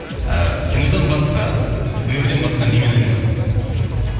ыыы кинодан басқа өнерден басқа немен айналысасыз дейді